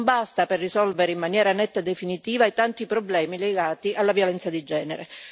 Non basta per risolvere in maniera netta e definitiva i tanti problemi legati alla violenza di genere.